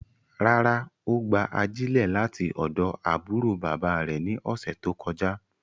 Rárá, o gba ajilẹ lati ọdọ aburo baba rẹ ni ọsẹ to kọja